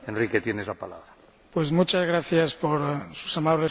Muchas gracias por sus amables palabras, señor Presidente.